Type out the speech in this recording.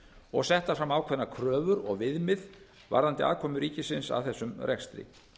og settar fram ákveðnar kröfur og viðmið varðandi aðkomu ríkisins að þessum rekstri